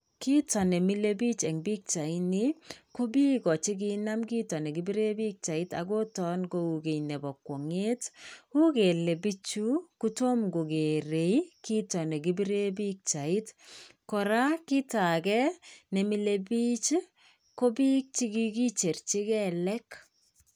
Kiit nemile biik en pichaini, ko biik che kinam kiit nekipiren pichait akoton kou kiiy nepo kwong'et. U kele bichu kotom kokeere kiit nekipiren pichait. Koraa, kit age nemile biik ko biik che kikicherji kelek.